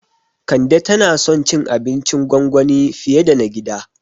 Kande tana son cin abincin gwangwani fiye da na gida